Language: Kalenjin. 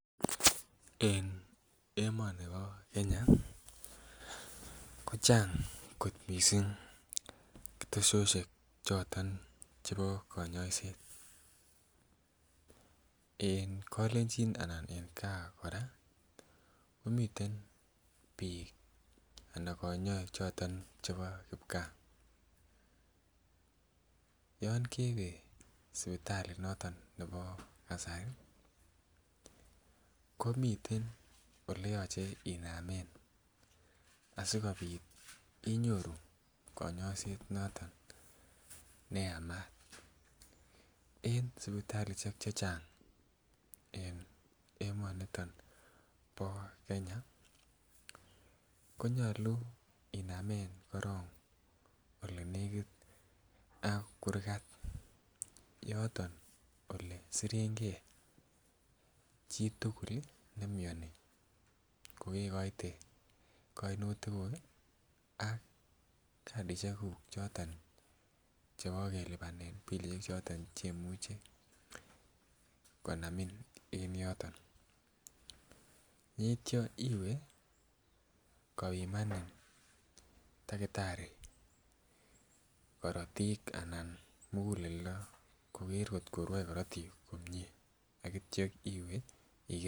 En emonibo Kenya ko chang kot missing ketesoshet choton chebo konyoiset en kolenjin anan en gaa kora komitan bik ana konyoik choton chebo gaa. Yon kewee sipitali noto nebo kasari komiten oleyoche inamen asikopit inyoru konyoiset noton neyamat, en sipitalishek chechang en emoniton bo Kenya konyolu inamen korong olenekit ak kurgat yoton ole sirengee chitukul nemioni ko kekoite koinutik kuk kii ak kasishek kuk chebo kelipan bilishek choto chemuche konamin en yoton, yeityo iwee kopimanin takitari korotik ana mukuleldo koker koto rwoe korotik komie ak ityo iwee iker.